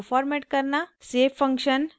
* save function